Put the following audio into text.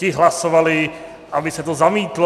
Ti hlasovali, aby se to zamítlo.